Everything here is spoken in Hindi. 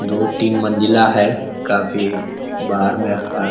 दो तीन मंजिला है काफ़ी बाहर में। हार --